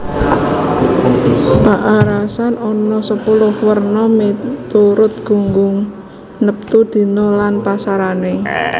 Paarasan ana sepuluh werna miturut gunggung neptu dina lan pasarané